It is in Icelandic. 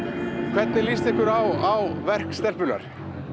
hvernig líst ykkur á verk stelpunnar